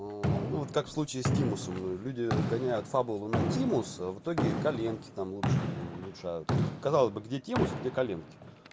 ну ну вот как случае с тимусом люди гоняют фабулу на тимус в итоге коленки там лучше улучшаются казалось бы где тимус где коленки